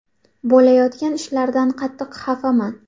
Bo‘layotgan ishlardan qattiq xafaman.